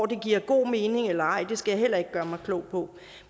det giver god mening eller ej skal jeg heller ikke gøre mig klog på